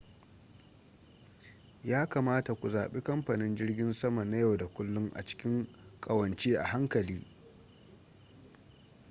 ya kamata ku zaɓi kamfanin jirgin sama na yau da kullun a cikin ƙawance a hankali